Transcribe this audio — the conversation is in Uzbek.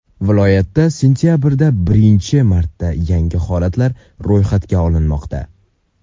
Viloyatda sentabrda birinchi marta yangi holatlar ro‘yxatga olinmoqda.